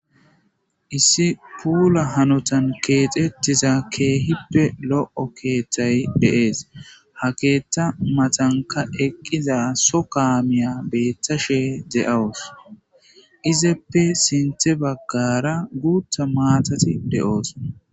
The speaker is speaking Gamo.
Issi kuunna haanotan kexetiza keththa keehippe lo'o keththay de'es ha keththa matanikka eqqiza soo kaameyakka beetashe de'awus izappe sintta baggara guuththa matati de'es